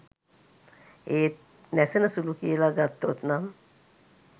ඒත් නැසෙන සුලු කියල ගත්තොත් නම්